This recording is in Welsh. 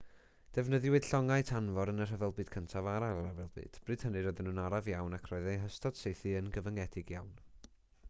defnyddiwyd llongau tanfor yn y rhyfel byd cyntaf a'r ail ryfel byd bryd hynny roedden nhw'n araf iawn ac roedd eu hystod saethu yn gyfyngedig iawn